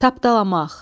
Tapdalamaq.